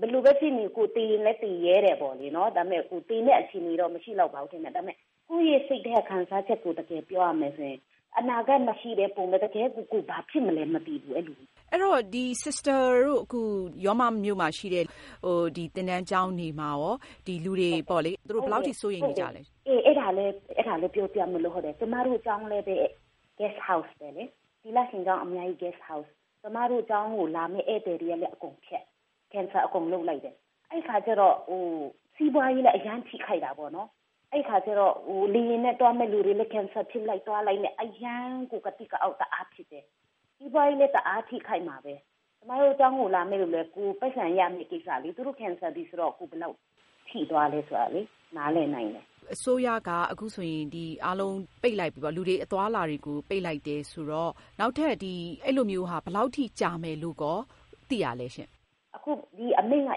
ဘယ်လိုပဲ ဖြစ်နေ ကိုယ် သေလည်း သေရဲတယ်ပေါ့လေ။ ဒါပေမယ့် သေမယ့် အခြေအနေတော့ မရှိလောက်ပါဘူး ဒါပေမယ့် ကိုယ့်စိတ်ထဲက ခံစားချက်ကို တကယ်ပြောရမယ်ဆိုရင် အနာဂါတ်မရှိတဲ့ ပုံစံ တကယ် ကိုယ်ဘာဖြစ်မလဲမသိဘူး။ အဲဒီတော့ Sister တို့အခု ရောမမြို့မှာရှိတဲ့ သင်တန်းကျောင်းတွေမှာရော လူတွေ ဘယ်လောက်အထိ စိုးရိမ်နေကြသလဲ။ ကျမတို့ ကျောင်းလည်း သီလရှင် Guest House ပဲလေ။ ကျမတို့ ကျောင်းကို လာမယ့် ဧည့်သည်တွေလည်း အကုန်ဖျက်လိုက်တယ် အဲဒီအခါကျတော့ စီးပွားရေးလည်း အရမ်းထိခိုက်တာပေါ့နော်။ လေယာဉ်နဲ့ သွားမယ့်လူတွေလည်း cancel ဖြစ်လိုက် သွားလိုက်နဲ့ အရမ်းကို ကသိကအောက် တအားဖြစ်တယ်။ စီးပွားရေးလည်း တအားထိခိုက်မှာပဲ ကျမတို့ ကျောင်းကိုလာမယ့်လူလည်း ကိုယ်ပိုက်ဆံရမယ့် ကိစ္စလေ သူတို့ cancel ပြီဆိုတော့ ကိုယ်ဘယ်လောက် ထိသွားသလဲ နားလည်နိုင်တယ်။ အစိုးရက အခုဆိုရင် လူတွေအသွားအလာ အားလုံး ပိတ်လိုက်ပြီဆိုတော့ နောက်ထပ် ဒီလိုမျိုး ဘယ်လောက် ကြာမယ်လို့ သိရသလဲ။ အခု ဒီအမိန့်က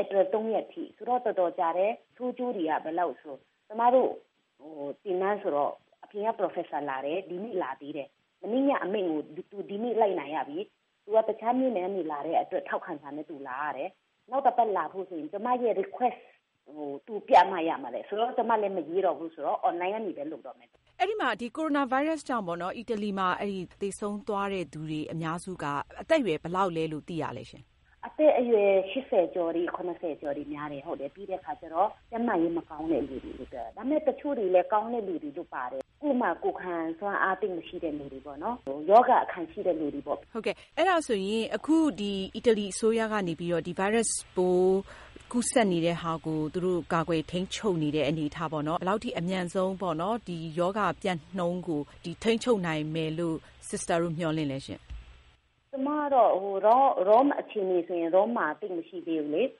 ဧပြီ ၃ ရက်အထိ ဆိုတော့ တော်တော်ကြတယ်။ ဆိုးကျိုးတွေက ဘယ်လောက်လဲဆိုတော့ ကျမတို့ကိုတော့ အပြင်က Professor လာတယ် ဒီနေ့လာသေးတယ်။ မနေ့က အမိန့်ကို ဒီနေ့ လိုက်နာရပြီ။ သူက တခြားမြို့နယ်ကနေ လာတဲ့အတွက် ထောက်ခံစာနဲ့ သူလာရတယ်။ နောက်တပတ်လာဖို့ဆိုရင် ကျမရဲ့ Request ကိုပြမှ သူလာလို့ ရမှာတဲ့။ ကျမလည်း မရေးတော့ဘူးဆိုတော့ သူ online ကနေပဲ လုပ်တော့မယ်။ အီတလီမှာ ကိုရိုနာဗိုင်းရပ်စ်ကြောင့် သေဆုံးသွားသူတွေဟာ အသက်အရွယ် ဘယ်လောက်ပိုင်းက အများဆုံးလဲလို့ သိရလဲရှင့်။ အသက်အရွယ် ကျော်တွေ၊ ကျော်တွေများတယ်။ ပြီးတော့ ကျန်းမာရေး မကောင်းတဲ့သူတွေလည်း ပါတယ်။ တချို့သူတွေကျတော့လည်း ကိုယ်ခံအား သိပ်မကောင်းတဲ့သူတွေ ပါပါတယ်။ ရောဂါအခံရှိတဲ့သူတွေပေါ့။ အီတလီအစိုးရကနေ ဒီဗိုင်းရပ်စ်ပိုး ကူးစက်မှုကို အမြန်ဆုံးကာကွယ်ထိန်းချုပ်နိုင်တဲ့ အနေအထားကိုရော ဘယ်လောက်ထိ မျှော်လင့်လည်းရှင့်။ ရောမမြို့က အခြေအနေဆိုရင် သိပ်မဆိုးသေးဘူးလေ။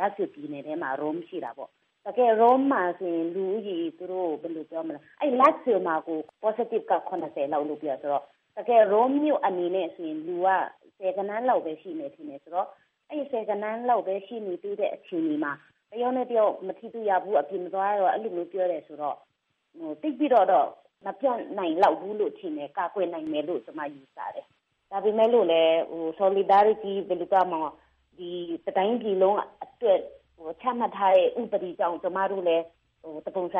ရောမမြို့က Lazio ပြည်နယ်တွင်းမှာရှိတာလေ။ ပြည်နယ်တွင်းမှာတော့ ရောဂါကူးစက်ခံရသူ လောက်ရှိတာဆိုတော့ ရောမမြို့မှာတော့ ဆယ်ဂဏန်းလောက်ပဲရှိတာပါ။ အဲတော့ တယောက်နဲ့တယောက်မထိရဘူး၊ အပြင်မသွားရဘူး ဆိုတော့ သိပ်ပြီးတော့ မပျံ့နိုင်လိုက်ဘူးလို့ ထင်တယ်။ ကာကွယ်နိုင်လောက်မယ်လို့ ထင်တယ်။ ဒါပေမဲ့လို့လည်း တတိုင်းပြည်လုံးအတွက် ချမှတ်ထားတဲ့ ဥပဒေကြောင့် ကျမတို့လည်း တပုံစံ